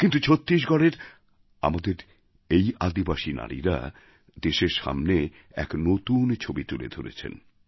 কিন্তু ছত্তিশগড়ের আমাদের এই আদিবাসী নারীরা দেশের সামনে এক নতুন ছবি তুলে ধরেছেন